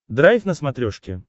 драйв на смотрешке